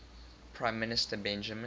prime minister benjamin